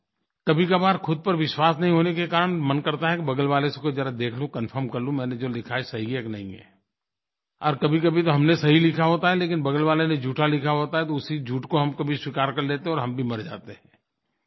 कभीकभार ख़ुद पर विश्वास नहीं होने के कारण मन करता है कि बगल वाले से ज़रा देख लूँ कनफर्म कर लूँ मैंने जो लिखा है सही है कि नहीं है और कभीकभी तो हमने सही लिखा होता है लेकिन बगल वाले ने झूठा लिखा होता है तो उसी झूठ को हम कभी स्वीकार कर लेते हैं और हम भी मर जाते हैं